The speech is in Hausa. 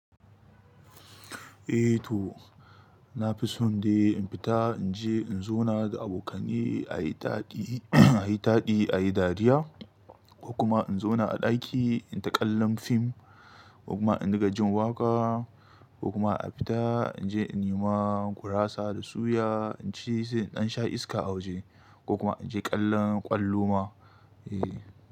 Eh to, na fi son dai in fita in je in zauna da abokani a yi taɗi, a yi taɗi, a yi dariya ko kuma in zauna a ɗaki in taƙallam fim ko kuma in dinga jin waƙa ko kuma a fita in je in nema gurasa da suya, in ci sai in dan sha iska a waje ko kuma in je ƙallon ƙwallo ma. Eh.